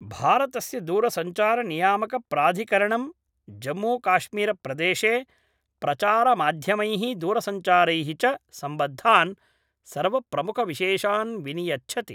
भारतस्य दूरसञ्चारनियामकप्राधिकरणं जम्मूकाश्मीरप्रदेशे प्रचारमाध्यमैः दूरसञ्चारैः च सम्बद्धान् सर्वप्रमुखविशेषान् विनियच्छति